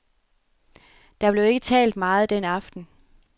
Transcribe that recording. Der blev ikke talt meget den aften.